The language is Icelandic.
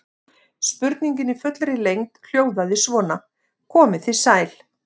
Spurningin í fullri lengd hljóðaði svona: Komið þið sæl.